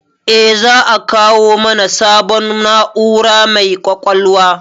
Eh, za a kawo mana sabon na'ura mai ƙwaƙwalwa